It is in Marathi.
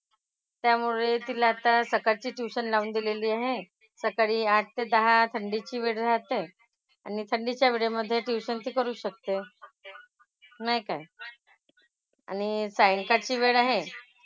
त्यामुळे तिला आता सकाळची tuition लावून दिलेली आहे. सकाळी आठ ते दहा थंडीची वेळ राहते. आणि थंडीच्या वेळेमधे tuition ती करू शकते . नाही काय? आणि सायंकाळची वेळ आहे.